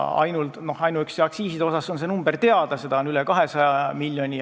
Ainuüksi aktsiiside number on teada, seda on üle 200 miljoni.